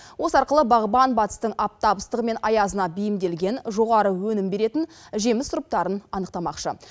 осы арқылы бағбан батыстың аптап ыстығы мен аязына бейімделген жоғары өнім беретін жеміс сұрыптарын анықтамақшы